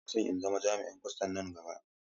Ina so in zama jami'in kwastan nan gaba.